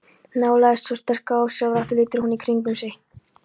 Nálægðin svo sterk að ósjálfrátt lítur hún í kringum sig.